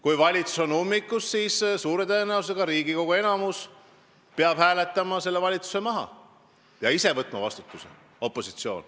Kui valitsus on ummikus, siis suure tõenäosusega peab Riigikogu enamus hääletama selle valitsuse maha ja opositsioon peab ise vastutuse võtma.